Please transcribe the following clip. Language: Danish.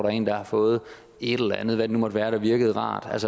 er en der har fået et eller andet hvad det nu måtte være der virkede rart